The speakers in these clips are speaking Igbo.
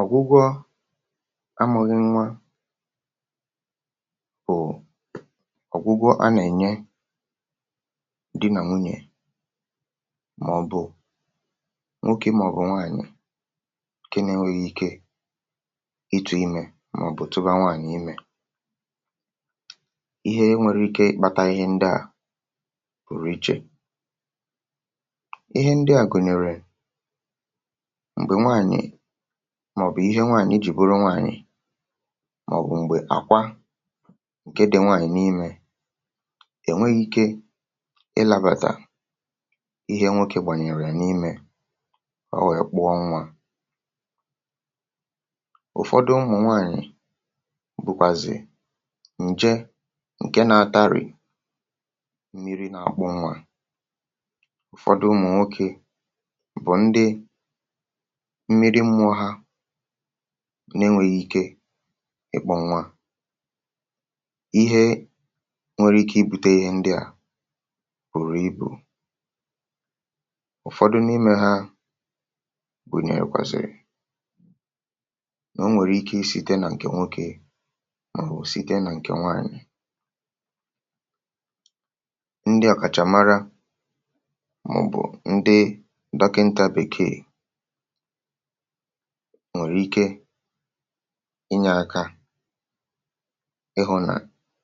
ọ̀gwụgwọ a, màọ̀bụ̀ nnwa, bụ̀ ọ̀gwụgwọ a nà-ènye di nà nwunyè, màọ̀bụ̀ nwoke ị, màọ̀bụ̀ nwaànyị̀, ke nȧ-ėnwėghi̇ ike itu̇ imė, màọ̀bụ̀ etubanwàànyị. Mee ihe, enwere ike ịkpȧtȧ ihe ndị à pùrù ichè. Ihe ndị à gụ̀nyèrè, màọ̀bụ̀ ihẹ nwaànyị jìburu nwaànyị, màọ̀bụ̀ m̀gbè àkwa ǹkẹ dị̀ nwaànyị n’imẹ, ẹ̀ nweghị ike ịlabàtà, ihẹ nwokė gbànyèrè n’imẹ̇ ọ, wẹ̀ẹ kpọ nwaa. um Ụ̀fọdụ ụmụ̀ nwaànyị bụkwazị̀ ǹje ǹke na-atarị mmiri̇ nà-àkpọ nwa. Ụ̀fọdụ ụmụ̀ nwokė bụ̀ ndị na-ịmọ̇ ha nà enwėghi ike ikpȧ nwa, ihe nwere ike ibùtė ihe ndị à pụ̀rụ ibù. Ụ̀fọdụ n’imẹ ha gunyè yȧ kwàsị̀rị̀ nà o nwèrè ike i site nà ǹkè nwokė, màọ̀bụ̀ site nà ǹkè nwaànyị̀. Ndị àkàchàmara, màọ̀bụ̀ ndị dọkịntà bekee, nwèrè ike inyė ȧkȧ hụ̇ nà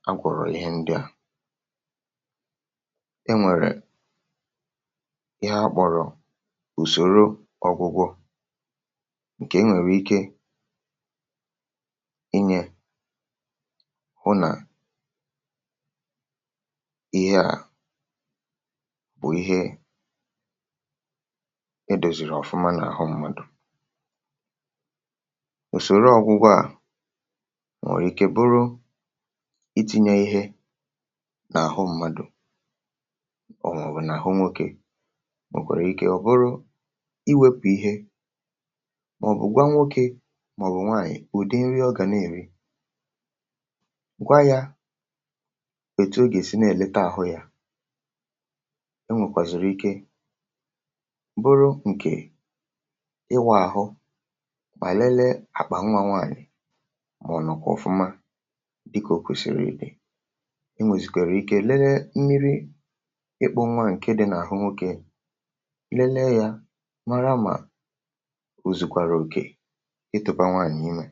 agwọ̀rọ̀ ihe ndị à. Enwèrè ihe akpọ̀rọ̀ ùsòro ọ̇gwụgwọ, ǹkè enwèrè ike inyė hụ nà ihe à bụ̀ ihe ịdòzìrì ọ̀fụma n’àhụ mmadụ̀. um Òsòro ọgwụgwọ à nwèrè ike bụrụ iti̇nye ihe n’àhụ mmadụ̀ ọ, màọ̀bụ̀ n’àhụ nwokė, nwèkwàrà ike ọ̀ bụrụ iwėpụ̀ ihe, màọ̀bụ̀ gwanwụ okė, màọ̀bụ̀ nwaànyị̀. Ụ̀dị nri ọ̀ gà na-èri, gwa yȧ, kwèto gà-èsi na-èlete àhụ yȧ. E nwèkwàzùrù ike bụrụ ǹkè mà lelee àkpà nwa nwaànyị̀, mà ọ̀nọ̀ kà ọfụma dịkà ò kwesìrì ídè. Ị nwèzìkwèrè ike lelee mmiri ịkpọ̇ nwa ǹkè dị nà àhụ nwokė, lelee yȧ nwaara, mà ùzùkwàrà òkè ịtụ̇bànwè ànyị mà.